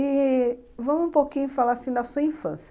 E vamos um pouquinho falar assim da sua infância.